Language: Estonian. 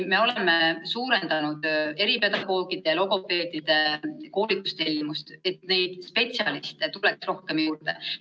Me oleme suurendanud eripedagoogide, logopeedide koolitustellimust, et neid spetsialiste tuleks rohkem juurde.